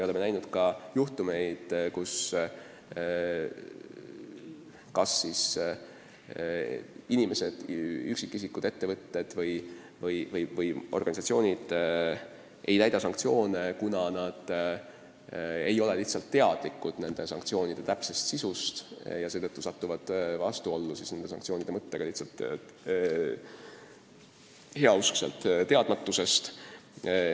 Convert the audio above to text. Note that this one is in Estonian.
On ka ette tulnud, et üksikisikud, ettevõtted või organisatsioonid ei täida sanktsioone, kuna nad lihtsalt ei tea täpselt nende sisu ja satuvad sanktsioonide mõttega vastuollu puhtast teadmatusest.